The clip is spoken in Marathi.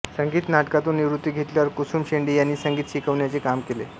संगीत नाटकांतून निवृत्ती घेतल्यावर कुसुम शेंडे यांनी संगीत शिकवण्याचे काम केले